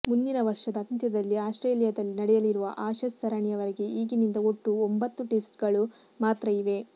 ಮುಂದಿನ ವರ್ಷದ ಅಂತ್ಯದಲ್ಲಿ ಆಸ್ಟ್ರೇಲಿಯಾದಲ್ಲಿ ನಡೆಯಲಿರುವ ಆಶಸ್ ಸರಣಿಯವರೆಗೆ ಈಗಿನಿಂದ ಒಟ್ಟು ಒಂಬತ್ತು ಟೆಸ್ಟ್ಗಳು ಮಾತ್ರ ಇವೆ